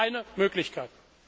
Das ist eine Möglichkeit.